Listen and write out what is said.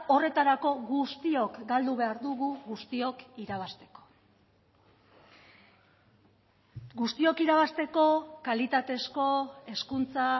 horretarako guztiok galdu behar dugu guztiok irabazteko guztiok irabazteko kalitatezko hezkuntza